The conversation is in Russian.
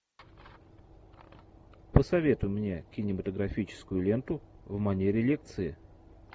посоветуй мне кинематографическую ленту в манере лекции